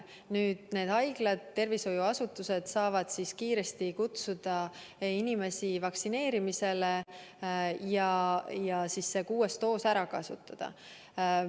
Nüüd, haiglad, tervishoiuasutused saavad kiiresti kutsuda inimesi vaktsineerima ja selle kuuenda doosi ära kasutada.